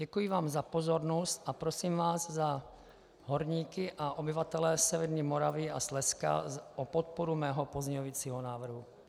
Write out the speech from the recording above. Děkuji vám za pozornost a prosím vás za horníky a obyvatele Severní Moravy a Slezska o podporu mého pozměňovacího návrhu.